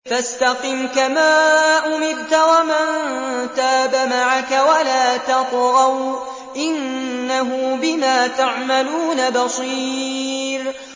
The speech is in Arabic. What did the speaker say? فَاسْتَقِمْ كَمَا أُمِرْتَ وَمَن تَابَ مَعَكَ وَلَا تَطْغَوْا ۚ إِنَّهُ بِمَا تَعْمَلُونَ بَصِيرٌ